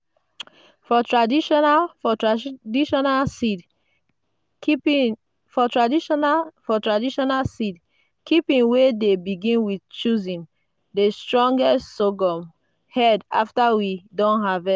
for traditional for traditional seed keeping we dey begin with choosing the strongest sorghum heads after we don.